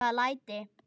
Hvaða læti?